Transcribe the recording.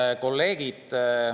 Head kolleegid!